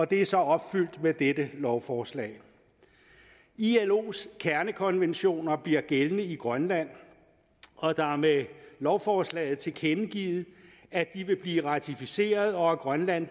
det er så opfyldt med dette lovforslag ilos kernekonventioner bliver gældende i grønland og der er med lovforslaget tilkendegivet at de vil blive ratificeret og at grønland